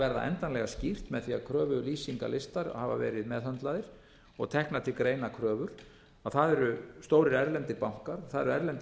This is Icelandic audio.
verða endanlega skýrt með því að kröfulýsingarlistar hafa verið meðhöndlaðir og teknar til greina kröfur það eru stórir erlendir bankar það eru erlendir